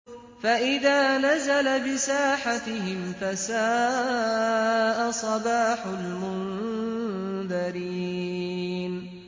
فَإِذَا نَزَلَ بِسَاحَتِهِمْ فَسَاءَ صَبَاحُ الْمُنذَرِينَ